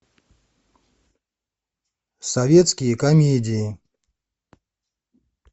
советские комедии